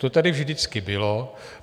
To tady vždycky bylo.